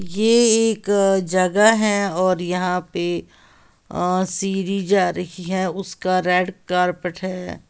ये एक जगह है और यहां पर अ सीढ़ी जा रही है। उसका रेड कारपेट है।